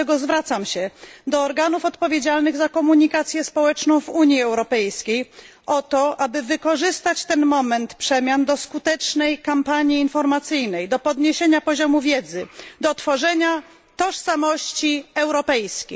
Dlatego zwracam się do organów odpowiedzialnych za komunikację społeczną w Unii Europejskiej o to, aby wykorzystać ten moment przemian do skutecznej kampanii informacyjnej, do podniesienia poziomu wiedzy, do tworzenia tożsamości europejskiej.